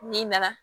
N'i nana